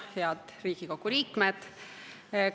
Head Riigikogu liikmed!